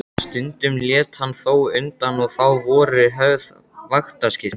Stundum lét hann þó undan og þá voru höfð vaktaskipti.